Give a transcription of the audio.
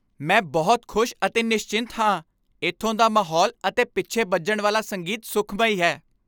ਮੈਂ ਬਹੁਤ ਖੁਸ਼ ਅਤੇ ਨਿਸਚਿੰਤ ਹਾਂ, ਇੱਥੋਂ ਦਾ ਮਾਹੌਲ ਅਤੇ ਪਿੱਛੇ ਬੱਜਣ ਵਾਲਾ ਸੰਗੀਤ ਸੁਖਮਈ ਹੈ!